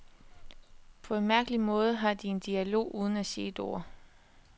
På en mærkelig måde har de en dialog uden at sige et ord.